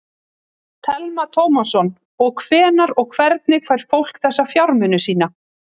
Telma Tómasson: Og hvenær og hvernig fær fólk þessa fjármuni sína?